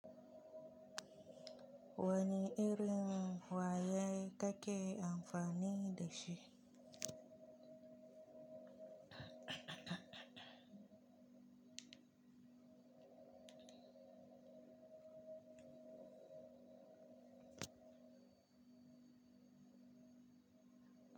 Wani irin waya kake amfani da shi?